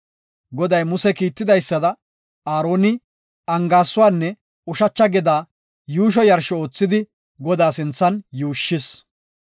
Goday Muse kiitidaysada, Aaroni angaaysuwanne ushacha gedaa yuusho yarsho oothidi Godaa sinthan yuushshis.